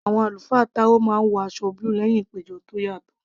Àwọn àlùfáà táò máa ń wọ aṣọ búlù lẹ́hìn ìpéjọ tó yàtọ̀